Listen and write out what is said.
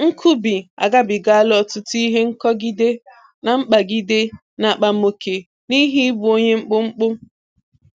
Nkubi agabigala ọtụtụ ihe nkọgide na mkpagịde na akpamoke n'ihi ịbụ onye mkpụmkpụ